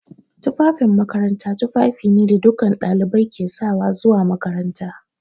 Tufafin makaranta tufafi ne da dukkan ɗalibai ke sawa zuwa makaranta.